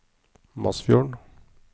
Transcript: Masfjorden